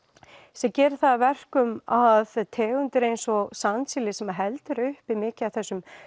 sem gerir það að verkum að tegundir eins og sandsíli sem heldur uppi mikið af þessum